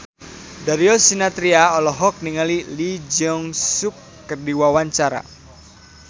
Darius Sinathrya olohok ningali Lee Jeong Suk keur diwawancara